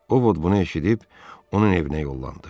O ovud bunu eşidib onun evinə yollandı.